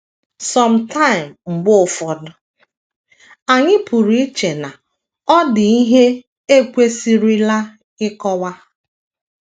some time, mgbe ụfọdụ, anyị pụrụ iche na ọ dị ihe e kwesịrịla ịkọwa.